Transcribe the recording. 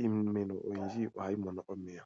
iimeno oyindji ohayi mono omeya.